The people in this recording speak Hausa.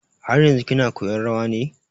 Har yanzun kina koyan rawan ne?